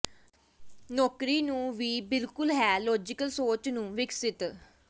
ਨੌਕਰੀ ਨੂੰ ਵੀ ਬਿਲਕੁਲ ਹੈ ਲਾਜ਼ੀਕਲ ਸੋਚ ਨੂੰ ਵਿਕਸਤ